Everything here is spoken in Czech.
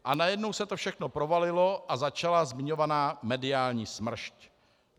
A najednou se to všechno provalilo a začala zmiňovaná mediální smršť.